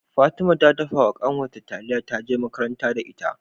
Fatima ta dafa wa kanwar ta taliya ta je makaranta da ita